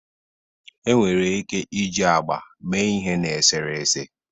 enwere ike iji agba mee ihe na eserese.